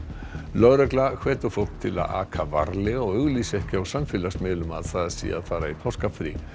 lögregla hvetur fólk til að aka varlega og auglýsa ekki á samfélagsmiðlum að það sé að fara í páskafrí